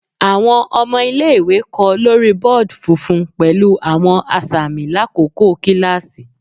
Awọn ọmọ ile-iwe kọ lori board funfun pẹlu awọn asami lakoko kilasi